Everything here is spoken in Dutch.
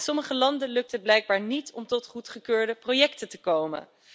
Sommige landen lukt het blijkbaar niet om tot goedgekeurde projecten te komen.